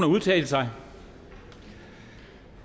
at udtale sig